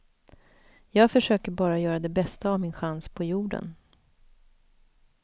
Jag försöker bara göra det bästa av min chans på jorden.